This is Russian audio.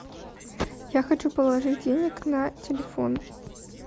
я хочу положить денег на телефон